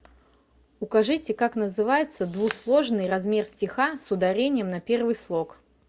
укажите как называется двусложный размер стиха с ударением на первый слог